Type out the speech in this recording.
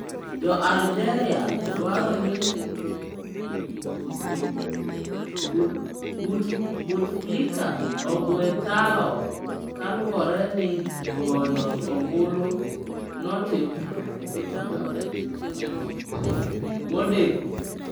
Jo Algeria dwaro ni Bouteflika ogwe tao kaluwore ni goyo ombulu notim modeko